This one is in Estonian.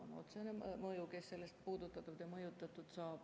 See on otsene mõju, keda see puudutab ja mõjutab.